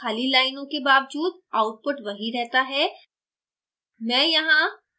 source file में खाली लाइनों के बावजूद output वही रहता है